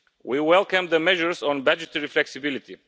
We welcome the measures on budgetary flexibility.